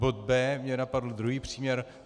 Bod B, napadl mě druhý příměr.